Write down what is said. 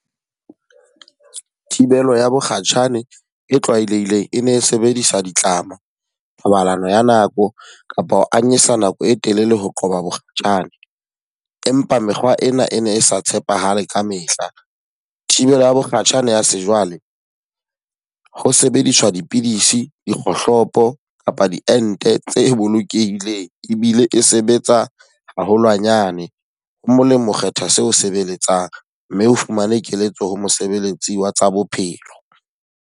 Thibelo ya mokgatjhane e tlwaelehileng, e ne e sebediswa ditlama, thobalano ya nako, kapa ho anyesa nako e telele ho qoba bokgatjhane. Empa mekgwa ena e ne e sa tshepahale ka mehla. Thibelo ya mokgatjhane ya sejwale, ho sebediswa dipidisi, dikgohlopo kapa diente tse bolokehileng ebile e sebetsa haholwanyane. Ho molemo kgetha seo sebeletsang mme o fumane keletso ho mosebeletsi wa tsa bophelo.